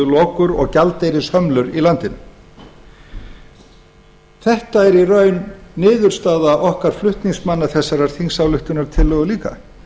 séu lokur og gjaldeyrishömlur í landinu þetta er í raun niðurstaða okkar flutningsmanna þessarar þingsályktunartillögu líka